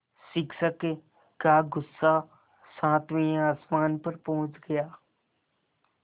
शिक्षक का गुस्सा सातवें आसमान पर पहुँच गया